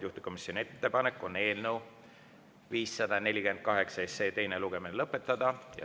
Juhtivkomisjoni ettepanek on eelnõu 548 teine lugemine lõpetada.